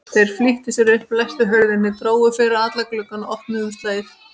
Þeir flýttu sér upp, læstu hurðinni, drógu fyrir alla glugga og opnuðu umslagið.